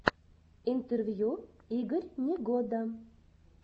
интервью игорь негода